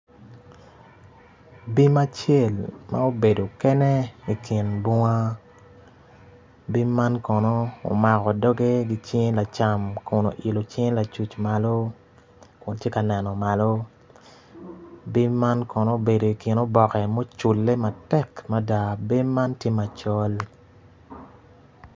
Bim acel ma obedo kene ikin bunga bim man kono omako doge ki cinge lacam kun oilo cing lacuc malo kun tye kaneno malo bim man kono obedo ikin oboke ma ocule matek mada bim man tye macol